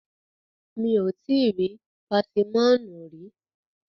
Mi ò tíì rí pásímọ̀nù rí.